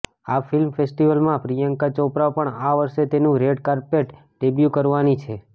આ ફિલ્મ ફેસ્ટિવલમાં પ્રિયંકા ચોપરા પણ આ વર્ષે તેનું રેડ કાર્પેટ ડેબ્યુ કરવાની છે